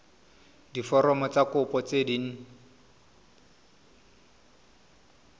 diforomo tsa kopo tse dint